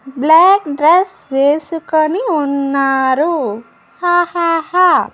Black dress వేసుకుని ఉన్నారూ హహహ.